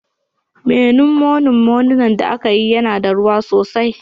Moninmonin Memunant da aka yi yana da ruwa sosai